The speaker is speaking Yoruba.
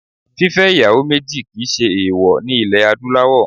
Fífẹ́ ìyàwó méjì kì í ṣe èèwọ̀ ní ilẹ̀ Adúláwọ̀